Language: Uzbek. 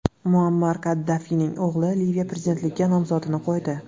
Muammar Kaddafining o‘g‘li Liviya prezidentligiga nomzodini qo‘ydi.